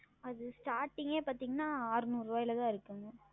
அது Starting பார்த்தீர்கள் என்றால் அறநூறு ரூபாய்ல தான் இருக்கிறது